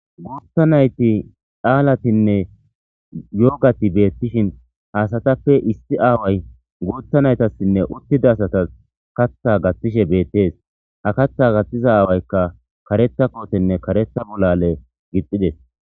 Gutha nayiti calaatinne yogati betishini ha asatappe issi awayi guththa nayitasinne utida asatasi kaththa gathishe beteesi ha kaaththa gathtiza aawayikka kareththa kotenne botha bolaale gixxideesi